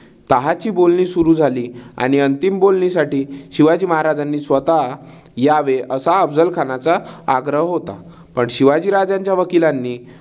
तहाची बोलणी सुरु झाली आणि अंतिम बोलणीसाठी शिवाजी महाराजांनी स्वतः यावे असा अफझल खानाचा आग्रह होता. पण शिवाजी राजांच्या वकिलांनी